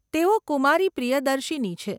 તેઓ કુમારી પ્રિયદર્શીની છે.